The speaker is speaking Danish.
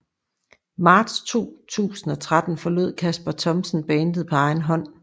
Marts 2013 forlod Kasper Thomsen bandet på egen hånd